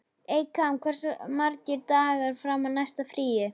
Eykam, hversu margir dagar fram að næsta fríi?